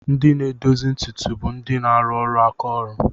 Ndị na-edozi ntutu bụ ndị na-arụ ọrụ aka ọrụ.